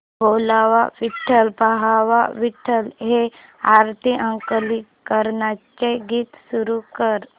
बोलावा विठ्ठल पहावा विठ्ठल हे आरती अंकलीकरांचे गीत सुरू कर